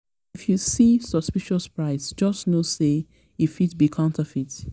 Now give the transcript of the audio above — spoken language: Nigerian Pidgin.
you see suspicious price just know say e fit be counterfeit.